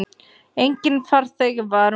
Enginn farþegi var um borð.